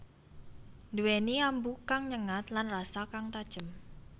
Nduwèni ambu kang nyengat lan rasa kang tajem